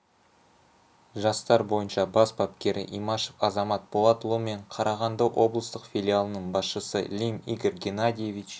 жастар бойынша бас бапкері имашев азамат болатұлы мен қарағанды облыстық филиалының басшысы лим игорь геннадьевич